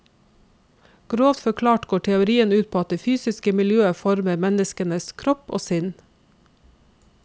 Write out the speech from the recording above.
Grovt forklart går teorien ut på at det fysiske miljøet former menneskenes kropp og sinn.